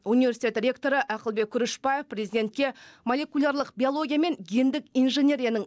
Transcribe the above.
университет ректоры ақылбек күрішбаев президентке молекулярлық биология мен гендік инженерияның